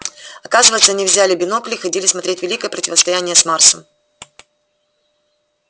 оказывается они взяли бинокль и ходили смотреть великое противостояние с марсом